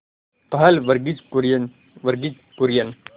पहल वर्गीज कुरियन वर्गीज कुरियन